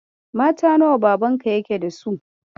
Mata nawa Babanka yake da su?